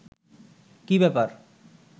কী ব্যাপার